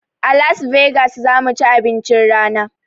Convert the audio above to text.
A las vegas zamuci abincin rana